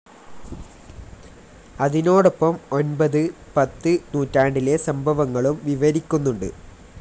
അതിനോടൊപ്പം ഒൻപത്, പത്ത് നൂറ്റാണ്ടിലെ സംഭവങ്ങളും വിവരിക്കുന്നുണ്ട്.